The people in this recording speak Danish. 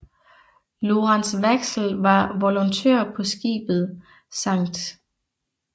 Lorentz Waxell var volontør på skibet St